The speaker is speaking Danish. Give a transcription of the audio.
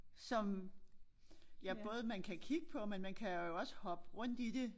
Som ja både man kan kigge på men man kan jo også hoppe rundt i det